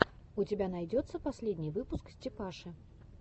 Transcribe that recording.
у тебя найдется последний выпуск степаши